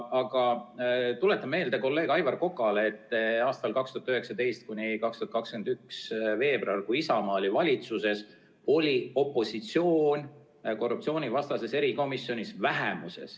Aga tuletan meelde kolleeg Aivar Kokale, et ajavahemikul 2019–2021 veebruar, kui Isamaa oli valitsuses, oli opositsioon korruptsioonivastases erikomisjonis vähemuses.